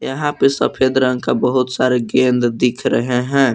यहां पे सफेद रंग का बहुत सारे गेंद दिख रहे हैं।